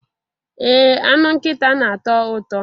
Ee anụ nkịta na-atọ ụtọ